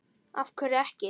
af hverju ekki?